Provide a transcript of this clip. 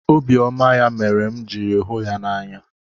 Obiọma ya mere m jiri hụ ya n'anya.